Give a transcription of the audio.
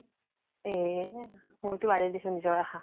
এহ মইতো বাদে দিছো নিজৰ আশা।